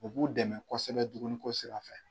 O b'u dɛmɛ kosɛbɛ dumuniko sira fɛ.